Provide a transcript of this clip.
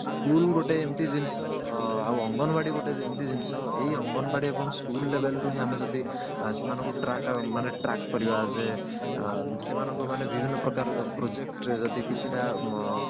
school ଗୋଟେ ଏମିତି ଜିନିଷ ଆଉ ଅଙ୍ଗନବାଡି ଗୋଟେ ଏମିତି ଜିନିଷ ଏଇ ଅଙ୍ଗନବାଡି ଆପଣଙ୍କୁ school level ରୁ ଆମେ ଯଦି ସେମାନଙ୍କୁ track ମାନେ ସେମାନକୁ track କରିବା as a ଅ ସେମାନଙ୍କୁ ମାନେ ବିଭିନ୍ନ ପ୍ରକାରର project ରେ ଯଦି କିଛି ଟା ମ